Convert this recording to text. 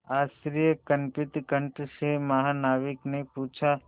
आश्चर्यकंपित कंठ से महानाविक ने पूछा